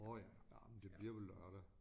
Åh ja ah men det bliver vel lørdag